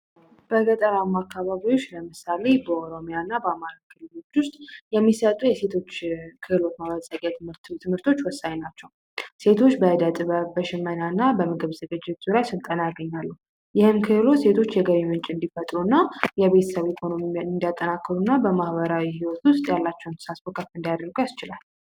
በገጠር አማካባቢዎች ለምሳሌ በኦሮሚያና በአማርኞች ውስጥ የሚሰጡ የሴቶች ክልል ምርቱ ትምህርቶች ወሳኝ ናቸው ሴቶች በጥበብ እና በምግብ ዝግጅቱ ላይ ሴቶች እንዲፈጥሩና የቤተሰብ በማህበራዊ አላቸው